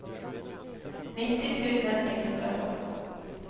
nittio tusen etthundratolv